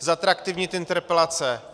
Zatraktivnit interpelace.